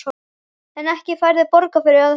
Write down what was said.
En ekki færðu borgað fyrir að hugsa?